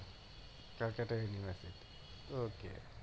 Calcutta university